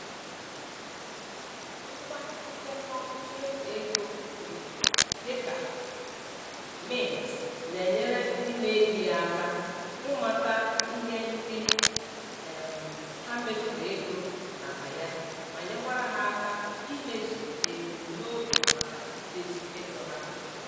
Ngwa ndekọ mmefu ego dị dị ka Mint na-enyere ndị na-eji ya aka ịmata ihe ndị um ha mefuru ego maka ya ma nyekwara ha aka imezu ebumnobi maka idozi ego ha